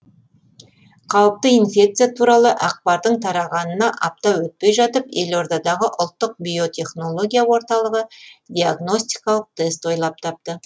қауіпті инфекция туралы ақпардың тарағанына апта өтпей жатып елордадағы ұлттық биотехнология орталығы диагностикалық тест ойлап тапты